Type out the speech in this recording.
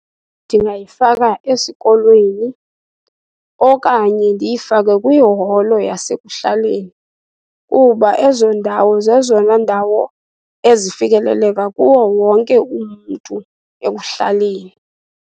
Ndingayifaka esikolweni okanye ndiyifake kwiholo yasekuhlaleni, kuba ezo ndawo zezona ndawo ezifikeleleka kuwo wonke umntu ekuhlaleni.